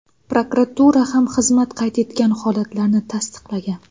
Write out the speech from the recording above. Prokuratura ham xizmat qayd etgan holatlarni tasdiqlagan.